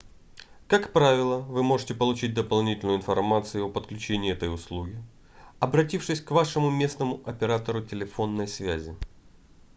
как правило вы сможете получить дополнительную информацию о подключении этой услуги обратившись к вашему местному оператору телефонной связи